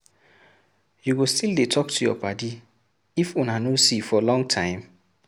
You go still dey talk to your paddy if una no see for long time?